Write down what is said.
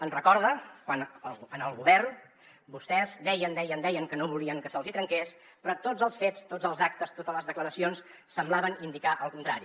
ens recorda a quan en el govern vostès deien deien deien que no volien que se’ls hi trenqués però tots els fets tots els actes totes les declaracions semblaven indicar el contrari